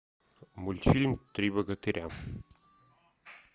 мультфильм три богатыря